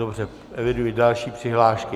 Dobře, eviduji další přihlášky.